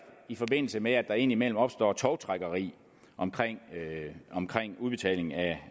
i forbindelse med at der indimellem opstår tovtrækkeri omkring omkring udbetalingen af